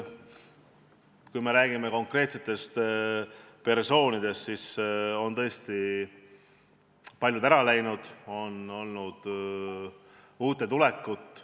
Kui räägime konkreetsetest persoonidest, siis on tõesti paljud ära läinud ja on olnud uute tulekut.